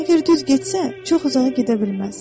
Əgər düz getsə, çox uzağa gedə bilməz.